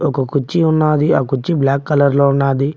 ఒక కుర్చి ఉన్నది ఆ కుర్చీ బ్లాక్ కలర్ లో ఉన్నది.